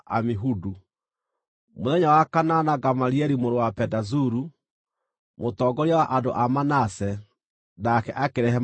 Mũthenya wa kanana Gamalieli mũrũ wa Pedazuru, mũtongoria wa andũ a Manase, nake akĩrehe maruta make.